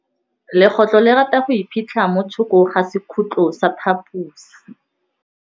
Legôtlô le rata go iphitlha mo thokô ga sekhutlo sa phaposi.